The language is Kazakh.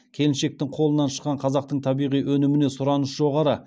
келіншектің қолынан шыққан қазақтың табиғи өніміне сұраныс жоғары